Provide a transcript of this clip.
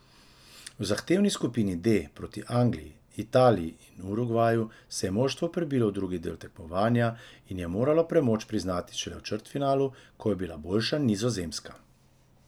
V zahtevni skupini D proti Angliji, Italiji in Urugvaju se je moštvo prebilo v drugi del tekmovanja in je moralo premoč priznati šele v četrtfinalu, ko je bila boljša Nizozemska.